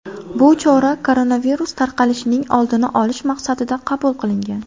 Bu chora koronavirus tarqalishining oldini olish maqsadida qabul qilingan.